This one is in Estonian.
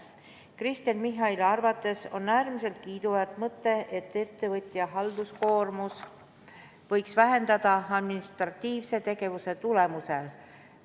Kristen Michali arvates on äärmiselt kiiduväärt mõte, et ettevõtja halduskoormus võis administratiivse tegevuse tulemusel väheneda.